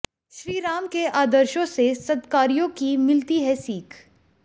श्रीराम के आदर्शो से सद्कार्यो की मिलती है सीख